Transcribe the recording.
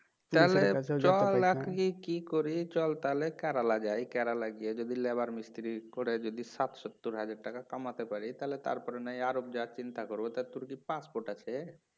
তাহলে চল এখন কি করি চল তাহলে কেরালা যাই কেরালা গিয়ে যদি labour মিস্তিরি করে যদি ষাট সত্তর হাজার টাকা কামাতে পারি তাহলে তারপরে নয় আরব যাবার চিন্তা করব তা তোর কি পাসপোর্ট আছে? "